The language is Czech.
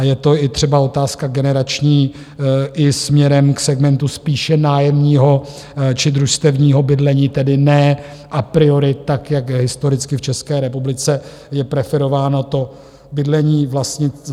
A je to i třeba otázka generační i směrem k segmentu spíše nájemního či družstevního bydlení, tedy ne a priori tak, jak historicky v České republice je preferováno to bydlení vlastnické.